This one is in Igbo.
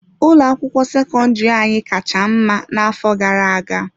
Ụlọ akwụkwọ sekọndrị anyị kacha mma n'afọ gara aga.